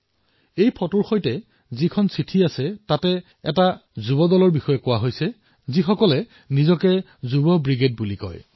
এই ফটোৰ সৈতে যি পত্ৰ আছে তাত যুৱচামৰ এনে এক দলৰ বিষয়ে কোৱা হৈছে যিয়ে নিজকে যুৱ ব্ৰিগেড বুলি পৰিচয় দিয়ে